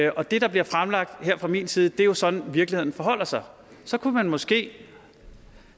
og det der bliver fremlagt her fra min side er jo sådan virkeligheden forholder sig så kunne man måske